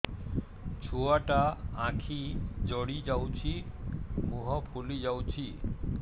ଛୁଆଟା ଆଖି ଜଡ଼ି ଯାଉଛି ମୁହଁ ଫୁଲି ଯାଉଛି